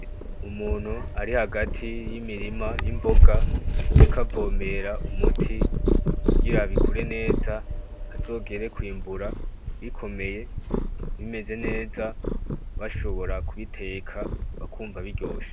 Umuntu ari hagati y'imirima y'imboga ariko avomera umuti kugira bikure neza hazogere kw'imbura bikomeye bimeze neza bashobora k'ubiteka bakumva biryoshe .